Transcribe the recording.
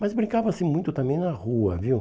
Mas brincava-se muito também na rua, viu?